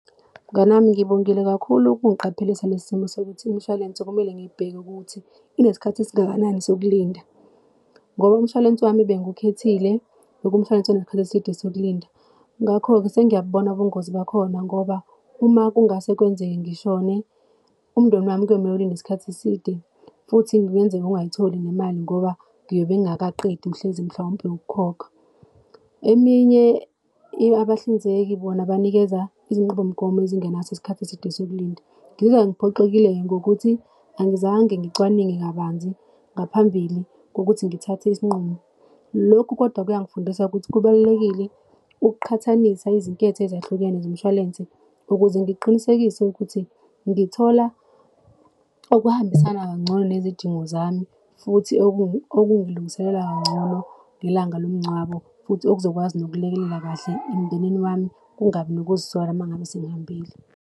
Mngani wami, ngibongile kakhulu ukungiqaphelisa lesi simo, sokuthi imishwalense kumele ngiyibheke ukuthi inesikhathi esingakanani sokulinda, ngoba umshwalense wami bengiwukhethile bekuwumshwalense uneskhath'eside sokulinda. Ngakho-ke sengiyabubona ubungozi bakhona ngoba uma kungase kwenzeke ngishone, umndeni wami kuyomele ulinde isikhathi eside futhi kungenzeka ungayitholi nemali ngoba ngiyobe ngingakaqedi mhlezi mhlawumpe ukukhokha. Eminye, abahlinzeki bona banikeza izinqubomgomo ezingenaso isikhathi eside sokulinda. Ngizwa ngiphoxekile ngokuthi angizange ngicwaninge kabanzi ngaphambili kokuthi ngithathe isinqumo. Lokhu, kodwa, kuyangifundisa ukuthi kubalulekile ukuqhathanisa izinketho ezahlukene zomshwalense ukuze ngiqinisekise ukuthi ngithola okuhambisana kangcono nezidingo zami, futhi okungilungiselela kangcono ngelanga lomngcwabo. Futhi okuzokwazi nokulekelela kahle emndenini wami, kungabi nokuzisola uma ngabe sengihambile.